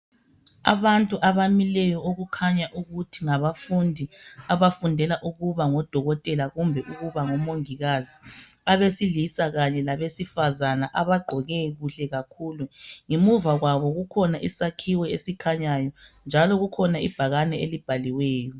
Abantu abamileyo okukhanya ukuthi ngabafundi abafundela ukuba ngodokotela kumbe omongikazi. Kulabesilisa kanye labesifazana abagqoke kuhle kakhulu. Ngemuva kwabo kukhona isakhiwo esikhanyayo lebhakane elibhaliweyo.